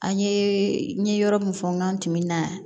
An ye n ye yɔrɔ min fɔ n tun bɛ na